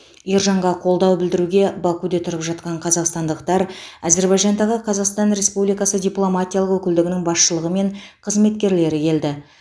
ержанға қолдау білдіруге бакуде тұрып жатқан қазақстандықтар әзербайжандағы қазақстан республикасы дипломатиялық өкілдігінің басшылығы мен қызметкерлері келді